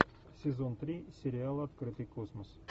сезон три сериала открытый космос